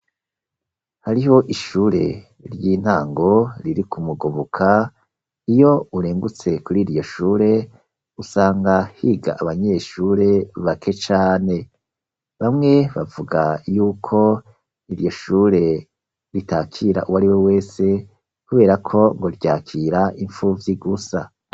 Hariho ishure ry'intango riri ku Mugoboka iyo urengutse kuriryo shure usanga higa abanyeshure bake cane, bamwe bavuga yuko iryoshure ritakira uwariwe wese kuberako ngo ryakira impfuvyi gusa.